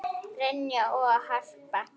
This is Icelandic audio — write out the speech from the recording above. Brynja og Harpa.